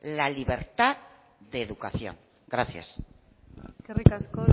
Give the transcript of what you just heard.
la libertad de educación gracias eskerrik asko